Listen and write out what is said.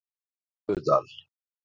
Fífudal